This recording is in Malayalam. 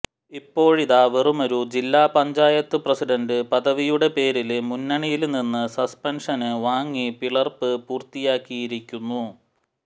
ഇപ്പോഴിതാ വെറുമൊരു ജില്ലാപഞ്ചായത്ത് പ്രസിഡന്റ് പദവിയുടെ പേരില് മുന്നണിയില്നിന്ന് സസ്പെന്ഷന് വാങ്ങി പിളര്പ്പ് പൂര്ത്തിയാക്കിയിരിക്കുന്നു